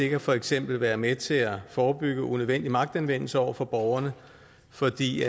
kan for eksempel være med til at forebygge unødvendig magtanvendelse over for borgerne fordi